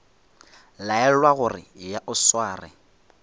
laelwa gore eya o sware